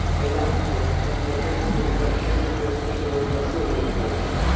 È in atto un processo di crescente regionalizzazione nel mondo.